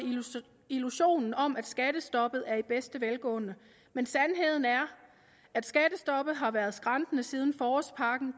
illusionen om at skattestoppet lever i bedste velgående men sandheden er at skattestoppet har været skrantende siden forårspakke